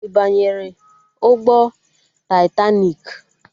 Ị banyere ụgbọ taitaniki?